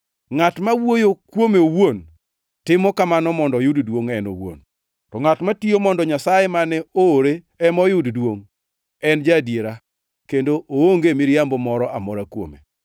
Ngʼat ma wuoyo kuome owuon timo kamano mondo oyud duongʼ en owuon, to ngʼat matiyo mondo Nyasaye mane oore ema oyud duongʼ, en ja-adiera, kendo onge miriambo moro amora kuome.